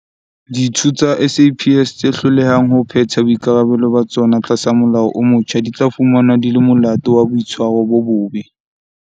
Ditho tsa SAPS tse hlolehang ho phetha boikarabelo ba tsona tlasa molao o motjha di tla fumanwa di le molato wa boitshwaro bo bobe.